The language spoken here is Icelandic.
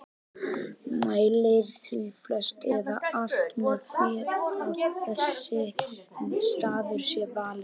Mælir því flest eða alt með því að þessi staður sé valinn.